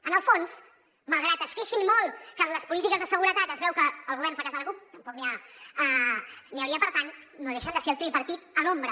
en el fons malgrat que es queixin molt que en les polítiques de seguretat es veu que el govern fa cas de la cup tampoc n’hi hauria per tant no deixen de ser el tripartit a l’ombra